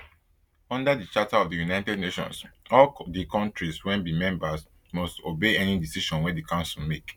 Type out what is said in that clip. under di charter of di united nations all di kontris wey be members must obey any decision wey di council make